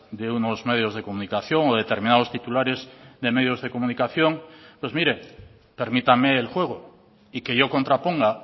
de unos medios de comunicación o determinados titulares de medios de comunicación pues mire permítame el juego y que yo contraponga